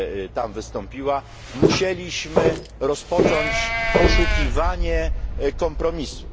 tam wystąpiła, musieliśmy rozpocząć poszukiwanie kompromisu.